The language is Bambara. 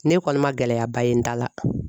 Ne kɔni ma gɛlɛyaba ye n ta la.